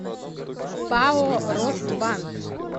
пао росбанк